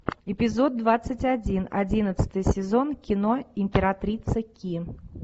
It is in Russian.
эпизод двадцать один одиннадцатый сезон кино императрица ки